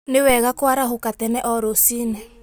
Nĩ wega kũarahũka tene o rũciiní.